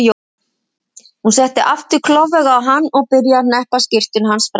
Hún settist aftur klofvega á hann og byrjaði að hneppa skyrtunni hans frá.